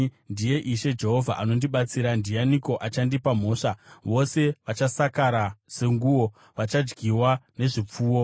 Ndiye Ishe Jehovha anondibatsira. Ndianiko achandipa mhosva? Vose vachasakara senguo; vachadyiwa nezvipfuno.